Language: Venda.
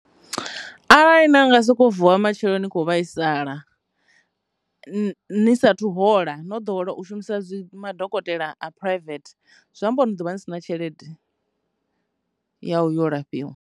Arali na nga soko vuwa matsheloni kho vhaisala ni sathu hola no ḓowela u shumisa dzi madokotela a private zwi amba uri ni ḓovha ni sina tshelede ya u yo lafhiwa.